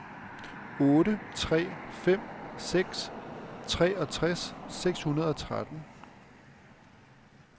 otte tre fem seks treogtres seks hundrede og tretten